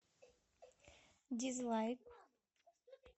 дизлайк